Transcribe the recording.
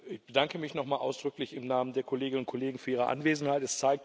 Ich bedanke mich noch mal ausdrücklich im Namen der Kolleginnen und Kollegen für Ihre Anwesenheit.